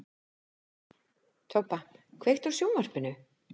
Tobba, kveiktu á sjónvarpinu.